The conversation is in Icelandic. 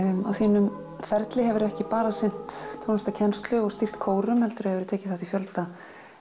á þínum ferli hefurðu ekki bara sinnt tónlistarkennslu og stýrt kórum heldur hefur þú tekið þátt í fjölda